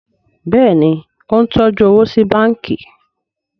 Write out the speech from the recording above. Béèni o ń tọjú owo sí bánkì.